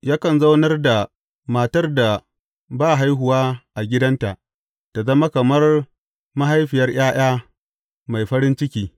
Yakan zaunar da matar da ba haihuwa a gidanta ta zama kamar mahaifiyar ’ya’ya mai farin ciki.